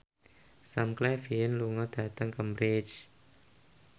Sam Claflin lunga dhateng Cambridge